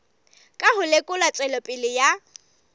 ka ho lekola tswelopele ya